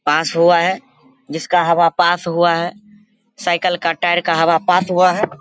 पास हुआ है जिसका हवा पास हुआ है। साइकल का टायर का हवा पास हुआ है।